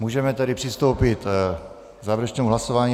Můžeme tedy přistoupit k závěrečnému hlasování.